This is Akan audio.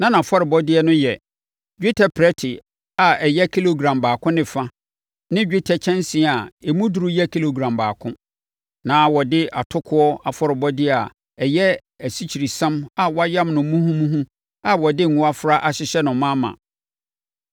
Na nʼafɔrebɔdeɛ no yɛ: dwetɛ prɛte a ɛyɛ kilogram baako ne fa ne dwetɛ kyɛnsee a emu duru yɛ kilogram baako. Na wɔde atokoɔ afɔrebɔdeɛ a ɛyɛ asikyiresiam a wɔayam no muhumuhu a wɔde ngo afra ahyehyɛ no ma ma.